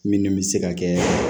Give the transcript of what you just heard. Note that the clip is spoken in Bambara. Minnu bɛ se ka kɛ